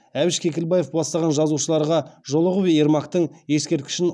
әбіш кекілбаев бастаған жазушыларға жолығып ермактың ескерткішін